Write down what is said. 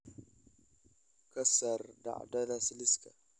ka saar dhacdadaas liiska